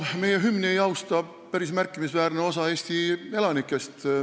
Meie hümni ei austa päris märkimisväärne osa Eesti elanikest.